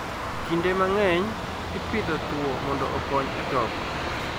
Kinde mang'eny, Ipidho thuo mondo okony e toko.